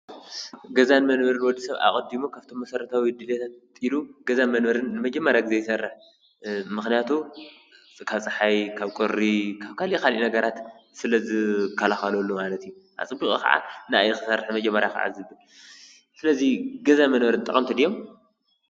ገዛ ንመንበርን ወዲ ሰብ ኣቐዲሙ ካብቶም መሰረታዊ ድልታ ቀፂሉ ገዛ መንበርን ንመጀመርያ ግዜ ይሰርሕ፡፡ ምኽንያቱ ካብ ፀሓይ ካብ ቁሪ ካብ ካልእ ካልእ ነገራት ስለዝከላኸለሉ ማለት እዩ፡፡ ኣፀቢቑ ከዓ ንዓዓ እዩ ክሰርሕ መጀመርያ፡፡ ስለዚ ገዛ መንበሪ ጠቐምቲ ድዮም?